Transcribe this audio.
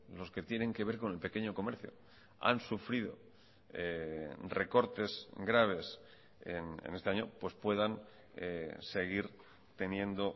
los que tienen que ver con el pequeño comercio han sufrido recortes graves en este año pues puedan seguir teniendo